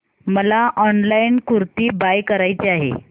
मला online kurti buy करायची आहे